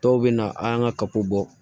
Dɔw bɛ na an ka kapo bɔ